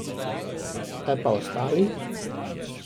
Kaj pa ostali?